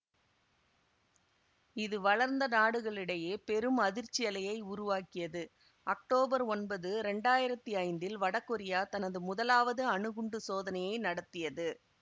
இது வளர்ந்த நாடுகளிடையே பெரும் அதிர்ச்சியலையை உருவாக்கியது அக்டோபர் ஒன்பது இரண்டாயிரத்தி ஐந்தில் வட கொரியா தனது முதலாவது அணுகுண்டு சோதனையை நடத்தியது